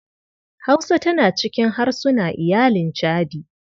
Hausa tana cikin harsuna iyalin chadi.